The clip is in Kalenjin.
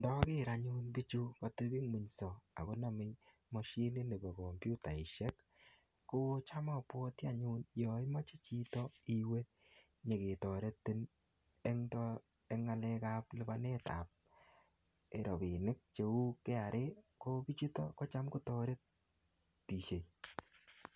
Ndager anyun bichu katebung'unyso akoname mashinit nebo kompyutaisiek, kocham abwati anyun yaimache chito iwe nyiketoretin eng eng ng'alekap lipanetap rabinik cheu KRA, ko bichutok kocham kotoretisie.